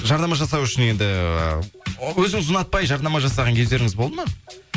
жарнама жасау үшін енді өзіңіз ұнатпай жарнама жасаған кездеріңіз болды ма